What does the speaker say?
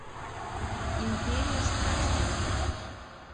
империя страсти